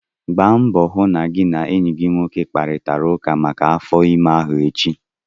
Gbaa mbọ hụ na gị na enyi gị nwoke kparịtara ụka maka afọ ime ahụ echi!